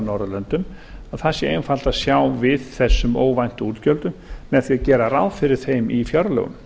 norðurlöndum og það sé einfalt að fjár við þessum óvæntu útgjöldum með því að gera ráð fyrir þeim í fjárlögum